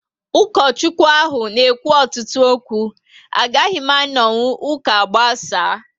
Ukochukwu ahụ n'ekwu ọtụtụ okwu, agaghị m anonwu ụka agbasaa